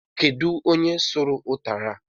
Kedu onye suru utara?